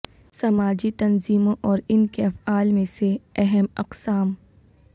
سماجی تنظیموں اور ان کے افعال میں سے اہم اقسام